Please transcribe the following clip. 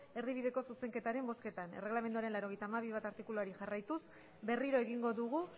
erdibideko zuzenketaren bozketan erreglamenduaren laurogeita hamabi puntu bat artikuluari jarraituz berriro egingo dugu